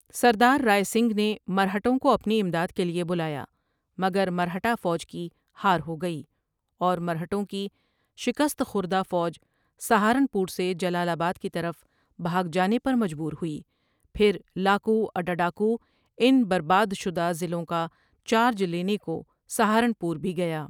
سردار رائے سنگھ نے مرہٹوں کو اپنی امداد کے لیے بلایا مگر مرہٹہ فوج کی ہار ہو گئی اور مرہٹوں کی شکست خوردہ فوج سہارنپور سے جلال آباد کی طرف بھاگ جانے پر مجبور ہوئی پھر لاکو اڈاڈاکو ان بربادشدہ ضلعوں کا چارج لینے کو سہارنپور بھی گیا ۔